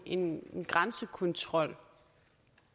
en grænsekontrol